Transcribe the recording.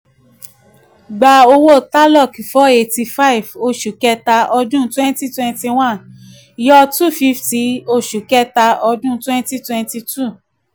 gbà owó tarlok four eighty five oṣù kẹta twenty twenty one yọ two fifty oṣù kẹta twenty twenty two.